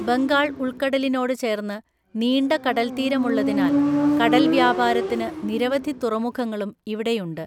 ബംഗാൾ ഉൾക്കടലിനോട് ചേർന്ന് നീണ്ട കടൽത്തീരമുള്ളതിനാൽ കടൽ വ്യാപാരത്തിന് നിരവധി തുറമുഖങ്ങളും ഇവിടെയുണ്ട്.